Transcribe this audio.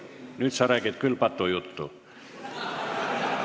Nüüd sa räägid küll patujuttu!